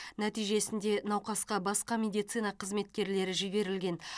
нәтижесінде науқасқа басқа медицина қызметкерлері жіберілген